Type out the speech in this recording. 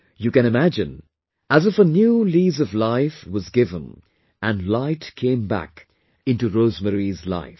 You can imagine, as if a new lease of life was given and light came back into Rosemary's life